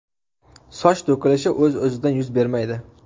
Soch to‘kilishi o‘z-o‘zidan yuz bermaydi.